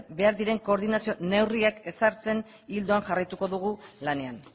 behar diren koordinazio neurriak ezartzen ildoan jarraituko dugu lanean